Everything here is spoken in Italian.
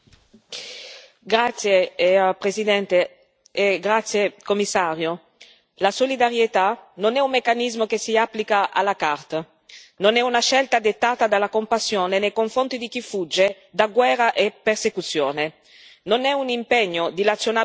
Signora Presidente, onorevoli colleghi, Commissario, la solidarietà non è un meccanismo che si applica non è una scelta dettata dalla compassione nei confronti di chi fugge da guerra e persecuzione, non è un impegno dilazionabile nel tempo.